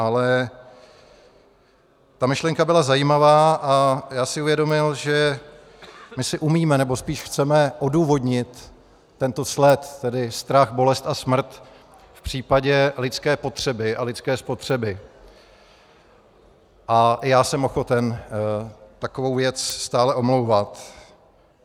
Ale ta myšlenka byla zajímavá a já si uvědomil, že my si umíme, nebo spíš chceme odůvodnit tento sled, tedy strach, bolest a smrt v případě lidské potřeby a lidské spotřeby, a já jsem ochoten takovou věc stále omlouvat.